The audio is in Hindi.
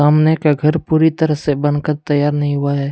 सामने का घर पूरी तरह से बन कर तैयार नहीं हुआ है।